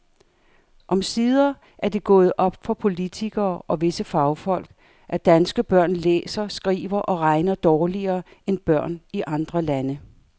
Omsider er det gået op for politikere og visse fagfolk, at danske børn læser, skriver og regner dårligere end børn i andre lande.